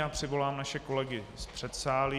Já přivolám naše kolegy z předsálí.